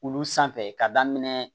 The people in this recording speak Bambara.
Olu sanfɛ ka daminɛ